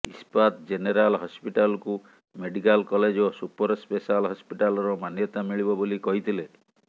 ଇସ୍ପାତ ଜେନେରାଲ ହସ୍ପିଟାଲକୁ medical college ଓ ସୁପର ସ୍ପେସାଲ୍ ହସ୍ପିଟାଲର ମାନ୍ୟତା ମିଳିବ ବୋଲି କହିଥିଲେ